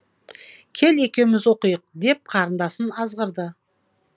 кел екеуміз оқиық деп қарындасын азғырды